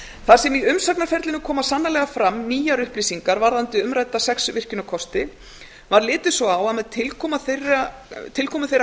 þar sem í umsagnarferlinu koma sannarlega fram nýjar upplýsingar um umrædda sex virkjunarkosti var litið svo á að með tilkomu þeirra